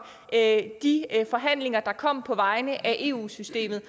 og at de forhandlinger der kom på vegne af eu systemet